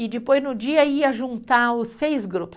E depois no dia ia juntar os seis grupos.